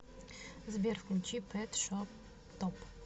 сбер включи пэт шоп топ